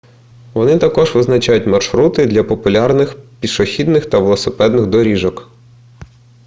вони також визначають маршрути для популярних пішохідних та велосипедних доріжок